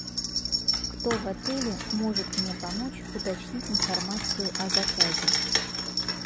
кто в отеле может мне помочь уточнить информацию о заказе